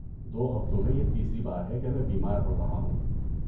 دو ہفتوں میں یہ تیسری بار ہے کہ میں بیمار پڑ رہا ہوں۔